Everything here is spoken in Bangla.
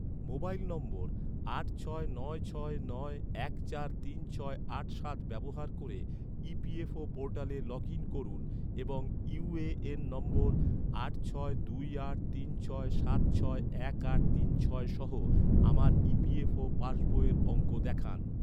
মোবাইল নম্বর আট ছয় নয় ছয় নয় এক চার তিন ছয় আট সাত আট ছয় আট সাত ব্যবহার ক’রে, ই.পি.এফ.ও ​​পোর্টালে লগ ইন করুন এবং ইউ.এ.এন নম্বর আট ছয় দুই আট তিন ছয় সাত ছয় এক আট তিন ছয় সহ আমার ই.পি.এফ.ও ​​পাসবইয়ের অঙ্ক দেখান